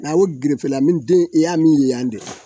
N'ale gerefele ni den i y'a min ye yan de